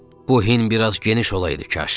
Bu hin biraz geniş olaydı kaş.